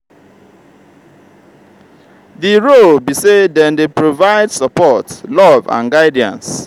di role be say dem dey provide support love and guidance.